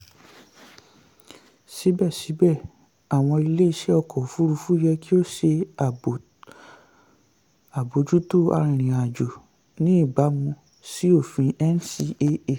síbẹ̀síbẹ̀ àwọn ilé-iṣẹ́ ọkọ òfurufú yẹ kí ó ṣe àbójútó arìnrìn-àjò ní ìbámu sí òfin ncaa.